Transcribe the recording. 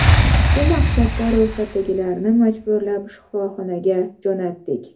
Shu maqsadda ro‘yxatdagilarni majburlab shifoxonalarga jo‘natdik.